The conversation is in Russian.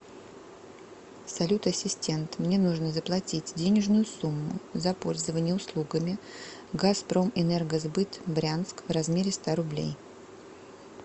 салют ассистент мне нужно заплатить денежную сумму за пользование услугами газпромэнергосбыт брянск в размере ста рублей